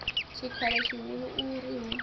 tshikhala tshihulu u ri hu